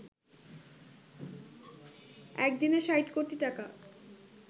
এক দিনে ৬০ কোটি টাকা